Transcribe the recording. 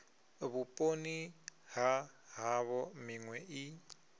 vhuponi ha havho minwe i